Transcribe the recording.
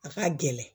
A ka gɛlɛn